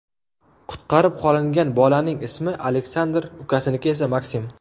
Qutqarib qolingan bolaning ismi Aleksandr, ukasiniki esa Maksim.